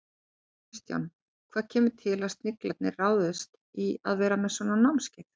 Kristján, hvað kemur til að Sniglarnir ráðist í að vera með svona námskeið?